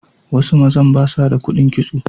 Wasu mazan ba sa ba da kuɗin kitso.